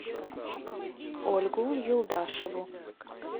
ольгу юлдашеву